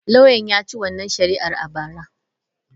Lauyan ya ci wannan shari'ar a bara.